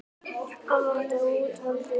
Hann vantaði úthaldið.